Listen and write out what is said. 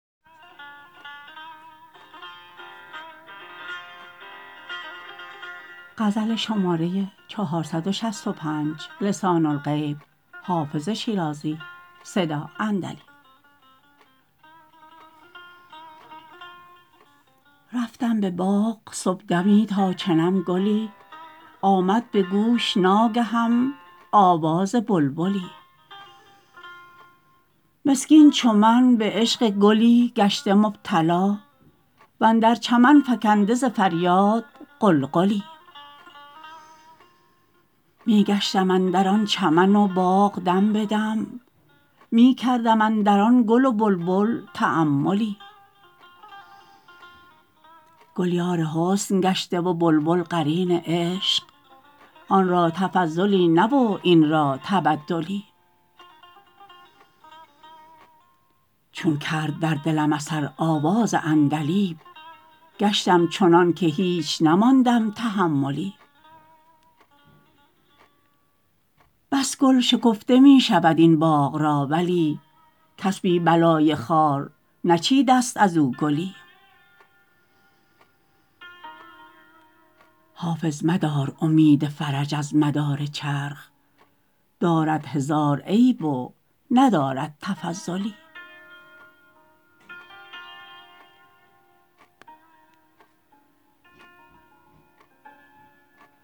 رفتم به باغ صبحدمی تا چنم گلی آمد به گوش ناگهم آواز بلبلی مسکین چو من به عشق گلی گشته مبتلا و اندر چمن فکنده ز فریاد غلغلی می گشتم اندر آن چمن و باغ دم به دم می کردم اندر آن گل و بلبل تاملی گل یار حسن گشته و بلبل قرین عشق آن را تفضلی نه و این را تبدلی چون کرد در دلم اثر آواز عندلیب گشتم چنان که هیچ نماندم تحملی بس گل شکفته می شود این باغ را ولی کس بی بلای خار نچیده ست از او گلی حافظ مدار امید فرج از مدار چرخ دارد هزار عیب و ندارد تفضلی